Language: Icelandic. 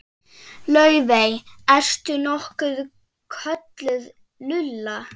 Laufey- ertu nokkuð kölluð Lulla?